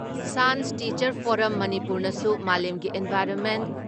chance teacher forum ꯃꯅꯤꯄꯨꯔꯅꯁꯨ ꯃꯥꯂꯦꯝꯒꯤ environment